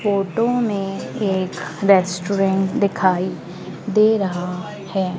Photo में एक restaurant दिखाई दे रहा है।